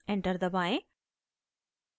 enter दबाएं